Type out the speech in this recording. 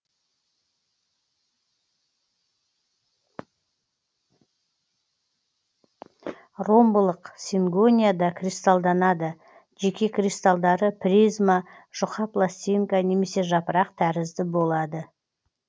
ромбылық сингонияда кристалданады жеке кристалдары призма жұқа пластинка немесе жапырақ тәрізді болады